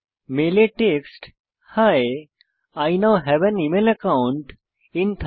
মেলে text he I now have an email account in Thunderbird